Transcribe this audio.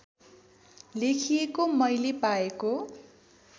लेखिएको मैले पाएको